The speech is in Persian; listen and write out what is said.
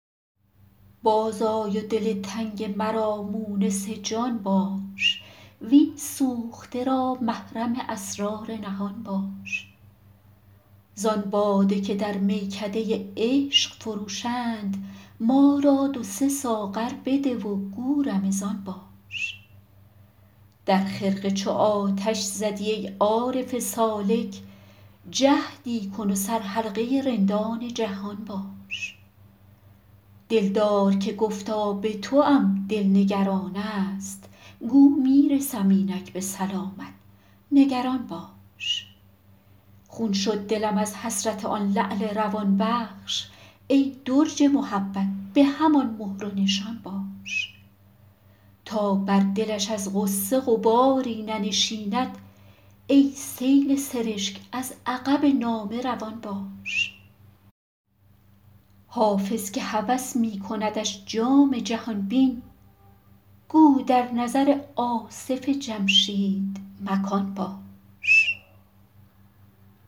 باز آی و دل تنگ مرا مونس جان باش وین سوخته را محرم اسرار نهان باش زان باده که در میکده عشق فروشند ما را دو سه ساغر بده و گو رمضان باش در خرقه چو آتش زدی ای عارف سالک جهدی کن و سرحلقه رندان جهان باش دلدار که گفتا به توام دل نگران است گو می رسم اینک به سلامت نگران باش خون شد دلم از حسرت آن لعل روان بخش ای درج محبت به همان مهر و نشان باش تا بر دلش از غصه غباری ننشیند ای سیل سرشک از عقب نامه روان باش حافظ که هوس می کندش جام جهان بین گو در نظر آصف جمشید مکان باش